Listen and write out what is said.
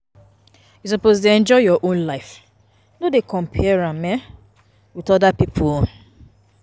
You suppose dey enjoy your own life, no dey compare am um wit oda pipo own.